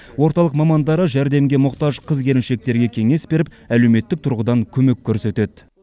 орталық мамандары жәрдемге мұқтаж қыз келіншектерге кеңес беріп әлеуметтік тұрғыдан көмек көрсетеді